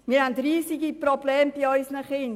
Wir haben riesige Probleme bei unseren Kindern.